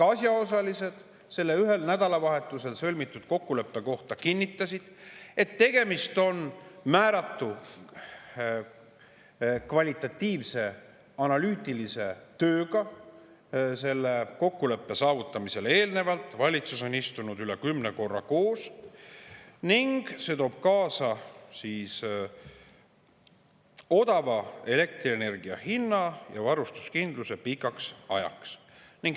Asjaosalised selle ühel nädalavahetusel sõlmitud kokkuleppe kohta kinnitasid, et tegemist on määratu kvalitatiivse analüütilise tööga, mis selle kokkuleppe saavutamisele eelnes – valitsus on istunud üle kümne korra koos –, ning see toob kaasa odava elektrienergia hinna ja varustuskindluse pikaks ajaks.